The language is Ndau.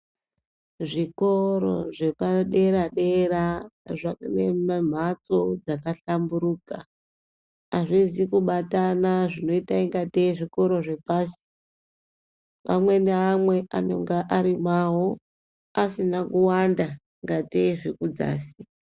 Zvikoro zvepadera dera zvaenemamhatso dzakahlamburuka azvizi kubatana zvinoita ingatei zvikora zvepasi amwe neamwe anenga ari mwawo asina kuwanda ingatei zvekudzasi.